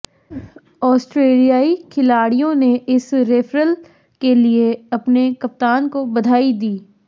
ऑस्ट्रेलियाई खिलाड़ियों ने इस रेफरल के लिए अपने कप्तान को बधाई दी